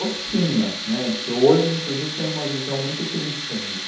Oficina, né, que hoje inclusive tenho uma visão muito crítica disso.